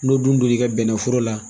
N'o dun donn'i ka bɛnɛ foro la